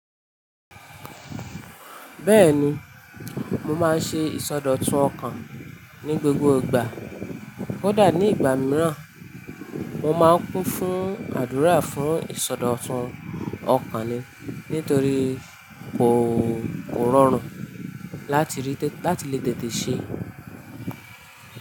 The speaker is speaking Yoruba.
Bẹ́ẹ̀ni, mo máa ń ṣe ìsọdọ̀tun ọkàn ní gbogbo ìgbà. Kódà nígbà mìíràn, mo máa ń kún fún àdúrà fún ìsọdọ̀tun ọkàn ni nítorí kò rọrùn láti lè tètè ṣe é.